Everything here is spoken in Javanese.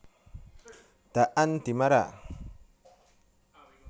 Daan Dimara